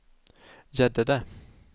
Gäddede